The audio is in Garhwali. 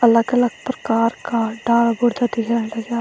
अलग अलग प्रकार का डाला बुर्ता दिख्यण लग्याँ।